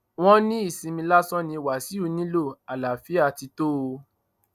wọn ní ìsinmi lásán ni wàsíù nílò àlàáfíà ti tó o